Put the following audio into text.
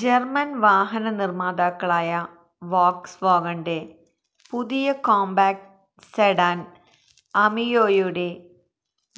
German വാഹന നിർമാതാക്കളായ ഫോക്സ്വാഗണിന്റെ പുതിയ കോംപാക്റ്റ് സെഡാൻ അമിയോയുടെ